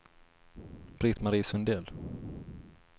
Britt-Marie Sundell